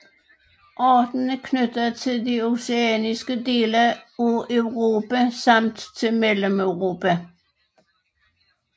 Arten er knyttet til de oceaniske dele af Europa samt til Mellemeuropa